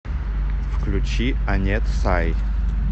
включи анет сай